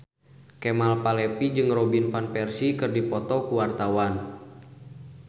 Kemal Palevi jeung Robin Van Persie keur dipoto ku wartawan